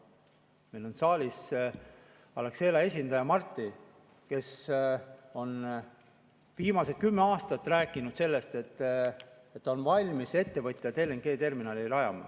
Meil on saalis Alexela esindaja Marti, kes on viimased kümme aastat rääkinud, et ta on valmis ettevõtjana LNG-terminali rajama.